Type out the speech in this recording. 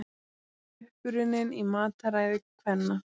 Uppruninn í mataræði kvenna